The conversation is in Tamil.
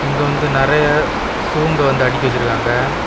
இங்க வந்து நெறைய ஷூங்க வந்து அடுக்கி வெச்சிருக்காங்க.